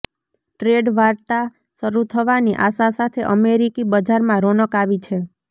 trade વાર્તા શરૂ થવાની આશા સાથે અમેરિકી બજારમાં રોનક આવી છે